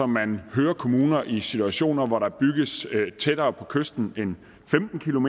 man hører kommuner i situationer hvor der bygges tættere på kysten end femten